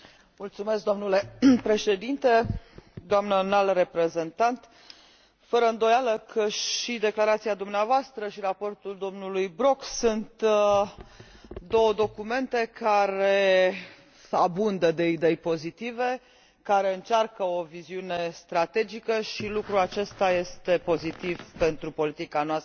Doamnă Înalt Reprezentant, fără îndoială că și declarația dumneavoastră, și raportul domnului Brok sunt două documente care abundă de idei pozitive, care încearcă o viziune strategică și lucrul acesta este pozitiv pentru politica noastră de apărare și securitate comună.